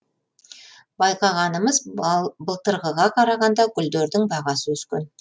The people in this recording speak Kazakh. байқағанымыз былтырғыға қарағанда гүлдердің бағасы өскен